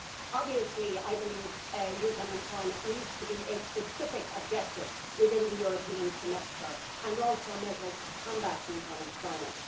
Obviously I believe youth unemployment needs to be a specific objective within the European Semester and also measures to combat youth unemployment.